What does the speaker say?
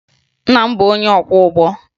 Nna m bụbu onye ọkwọụgbọ